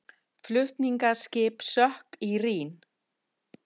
Flutningaskip sökk í Rín